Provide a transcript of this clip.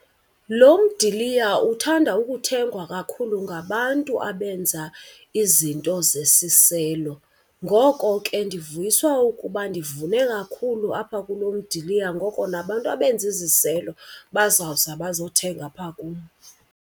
Lo mdiliya uthanda ukuthengwa kakhulu ngabantu abenza izinto zesiselo. Ngoko ke ndivuyiswa ukuba ndivune kakhulu apha kulo mdiliya ngoko nabantu abenza iziselo bazawuza bazothenga apha kum.